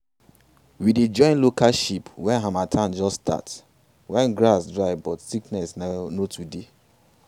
we dey join local sheep when harmattan just start when grass dry but sickness no too dey.